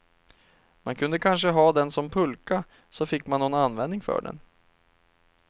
Man kunde kanske ha den som pulka, så fick man någon användning för den.